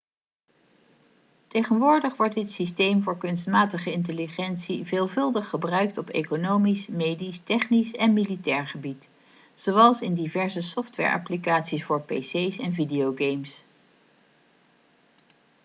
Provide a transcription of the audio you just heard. tegenwoordig wordt dit systeem voor kunstmatige intelligentie veelvuldig gebruikt op economisch medisch technisch en militair gebied zoals in diverse software-applicaties voor pc's en videogames